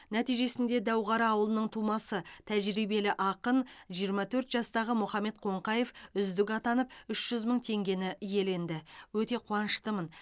нәтижесінде дәуқара ауылының тумасы тәжірибелі ақын жиырма төрт жастағы мұхаммед қоңқаев үздік атанып үш жүз мың теңгені иеленді өте қуаныштымын